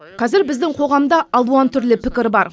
қазір біздің қоғамда алуан түрлі пікір бар